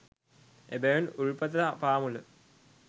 එබැවින් උල්පත පාමුල